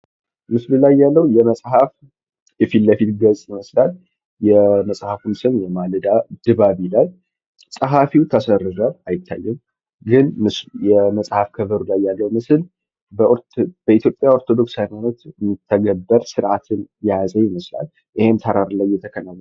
ምስሉ ላይ ያለው የመፅሐፍ የፊት ለፊት ገፅ ይመስላል የመጽሐፉም ስም የማለዳ ድባብ ይላል፤ ፀሀፊው ተሰርዟል አይታይም። በመፅሐፍ ከቨሩ ላይ በኢትዮጵያ ኦርቶዶክስ ሀይማኖት የሚተገበር ስርአትን የያዘ ይመስላል ይህም ተራራ ላይ የተከናወነ ነው።